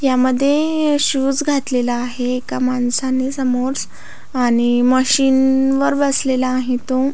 यामध्ये शूज घातलेला आहे एका माणसाने आणि मशीन वर बसलेला आहे तो.